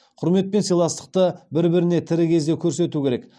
құрмет пен сыйластықты бір біріне тірі кезде көрсету керек